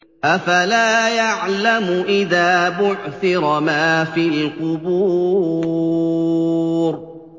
۞ أَفَلَا يَعْلَمُ إِذَا بُعْثِرَ مَا فِي الْقُبُورِ